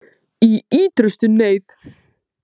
Í ýtrustu neyð